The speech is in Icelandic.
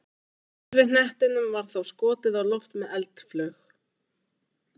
Gervihnettinum var þá skotið á loft með eldflaug.